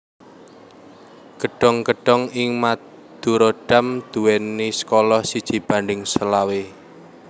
Gedhong gedhong ing Madurodam nduwèni skala siji banding selawe